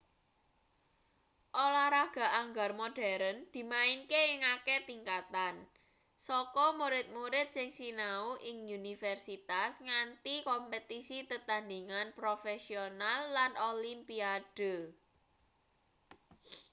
olahraga anggar modern dimainke ing akeh tingkatan saka murid-murid sing sinau ing universitas nganti kompetisi tetandhingan profesional lan olimpiade